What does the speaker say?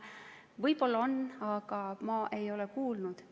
Võib-olla on, aga ma ei ole kuulnud.